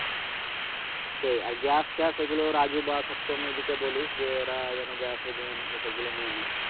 সেই আর গ্যাস ট্যাস এগুলো রাজু বা সত্তো এদেরকে বলিস যে ওরা যেন Gas oven এসবগুলো নিয়ে নেয়।